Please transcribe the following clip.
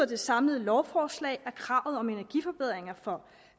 det samlede lovforslag at kravet om energiforbedringer for